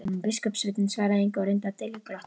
Biskupssveinninn svaraði engu og reyndi að dylja glott.